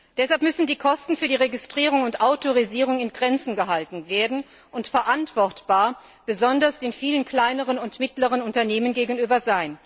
Deshalb müssen die Kosten für die Registrierung und Autorisierung in Grenzen gehalten werden und verantwortbar sein besonders den vielen kleinen und mittleren Unternehmen gegenüber.